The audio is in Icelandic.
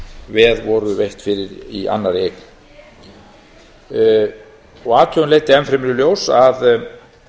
veð voru veitt fyrir í annarri eign athugun leiddi enn fremur í ljós að